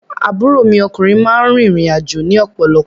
Àbúrò mi lọ́kúnrin máa ń rìn ìrìn àjò ni ọ̀pọ̀lọ̀pọ̀